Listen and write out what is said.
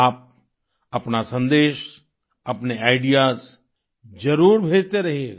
आप अपना सन्देश अपने आईडीईएएस जरुर भेजते रहिएगा